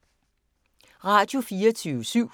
Radio24syv